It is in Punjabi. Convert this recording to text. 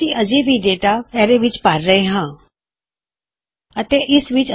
ਜਿਵੇਂ ਵੀ ਹਲੇ ਵੀ ਅਸੀਂ ਇਥੇ ਇਹ ਕਰ ਰਹੇ ਹਾਂ ਕੀ ਅਸੀਂ ਇਸਨੂੰ ਅਰੈ ਵਿੱਚ ਪਾਂ ਰਹੇ ਹਾਂ